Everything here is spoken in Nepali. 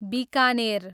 बिकानेर